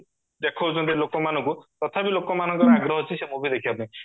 ଦେଖାଉଚନ୍ତି ଲୋକମାନଙ୍କୁ ତଥାବି ଲୋକମାନଙ୍କର ଆଗ୍ରହ ଅଛି ସେ movie ଦେଖିବା ପାଇଁ